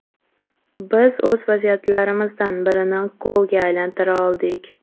Biz o‘z vaziyatlarimizdan birini golga aylantira oldik.